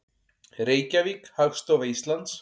Reykjavík, Hagstofa Íslands.